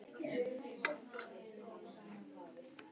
Móses, hver er dagsetningin í dag?